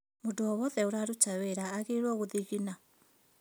Mũndũ o wothe ũraruta wĩra aagĩrĩirwo gũthigina